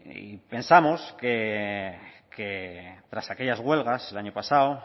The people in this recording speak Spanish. y pensamos que tras aquellas huelgas el año pasado